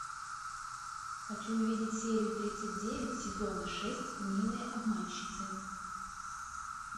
хочу увидеть серию тридцать девять сезона шесть милые обманщицы